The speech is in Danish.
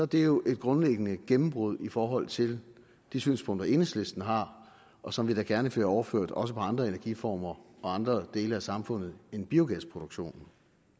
det jo et grundlæggende gennembrud i forhold til de synspunkter som enhedslisten har og som vi da gerne ser overført også til andre energiformer og andre dele af samfundet end biogasproduktionen